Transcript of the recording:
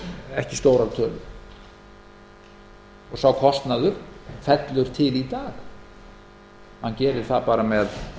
tölur og sá kostnaður fellur til í dag hann gerir það bara með